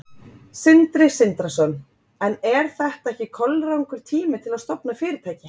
Sindri Sindrason: En er þetta ekki kolrangur tími til að stofna fyrirtæki?